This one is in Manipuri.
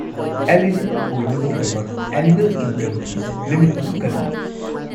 ꯑꯦꯂꯤꯖꯤꯕꯜ ꯑꯣꯏꯅꯕꯒꯤꯗꯃꯛ ꯑꯦꯅꯨꯑꯦꯜ ꯏꯟꯀꯝꯒꯤ ꯂꯤꯃꯤꯠ ꯑꯗꯨ ꯀꯔꯤꯅꯣ?